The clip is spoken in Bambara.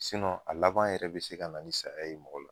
a laban yɛrɛ bɛ se ka na ni saya ye mɔgɔ la.